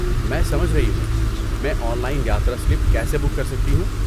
میں سمجھ رہی ہوں، میں آن لائن یاترا سلپ کیسے بک کر سکتی ہوں؟